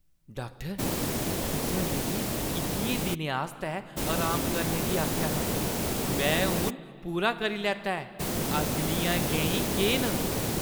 Doctor, तुसें मिगी इक्कियें दिनें आस्तै अराम करने गी आखेआ हा। मैं हून पूरा करी लैता ऐ। अगलियां गैईं केह् न?